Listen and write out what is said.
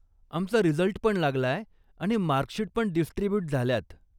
आमचा रिझल्ट पण लागलाय आणि मार्कशीट पण डिस्ट्रिब्युट झाल्यात.